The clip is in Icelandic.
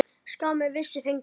Skammir vissir fengu.